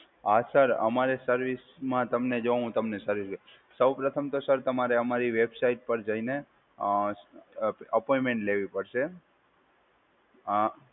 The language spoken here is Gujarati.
હા સર, અમારે સર્વિસમાં તમને જો હું તમને સર્વિસ, સૌ પ્રથમ તો સર તમારે અમારી વેબસાઇટ પર જઇને અ અપોઈન્ટમેન્ટ લેવી પડશે. હા